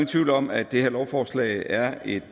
tvivl om at det her lovforslag er et